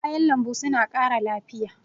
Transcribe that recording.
Kayan lambu suna ƙara lafiya.